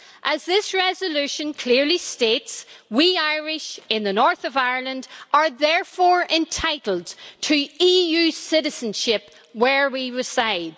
As this resolution clearly states, we Irish in the north of Ireland are therefore entitled to EU citizenship where we reside.